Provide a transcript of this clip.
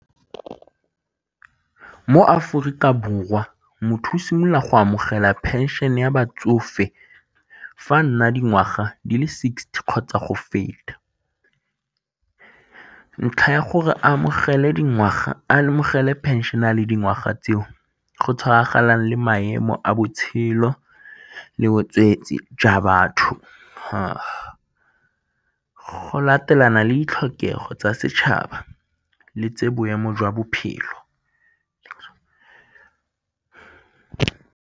Mo Aforika Borwa, motho o simolola go amogela phenšene ya batsofe fa nna dingwaga di le sixty kgotsa go feta. Ntlha ya gore a amogele phešene a le dingwaga tseo go tshwaraganelang le maemo a botshelo le jwa batho, go latelana le ditlhokego tsa setšhaba le tse boemo jwa bophelo.